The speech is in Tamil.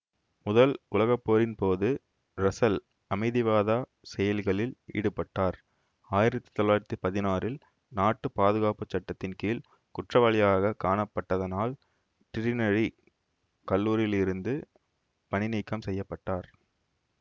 முதல் உலக போரின் போது ரசல் அமைதிவாதா செயல்களில் ஈடுபட்டார் ஆயிரத்தி தொள்ளாயிரத்தி பதினாறில் நாட்டு பாதுகாப்புச்சட்டத்தின் கீழ் குற்றவாளியாக காணப்பட்டதனால் டிரினிடி கல்லூரியிலிருந்து பணிநீக்கம் செய்ய பட்டார்